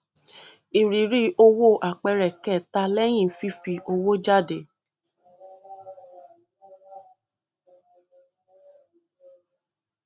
ìrírí owó àpẹẹrẹ kẹta lẹyìn fífi owó jáde